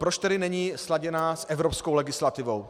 Proč tedy není sladěná s evropskou legislativou?